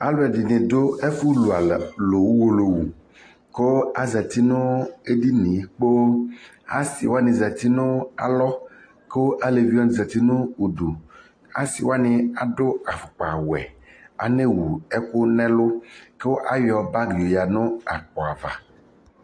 alʋɛdini dʋ ɛƒʋ lʋ ʋwɔlɔ kʋ azati nʋ ɛdiniɛ kpɔɔ, asii wani zati nʋ alɔ kʋ alɛvi wani zati nʋ ʋdʋ, asii wani adʋ aƒʋkpa wɛ anɛ wʋ ɛkʋ nʋ ɛlʋ kʋ ayɔ bagi yɔ yanʋ akpɔ aɣa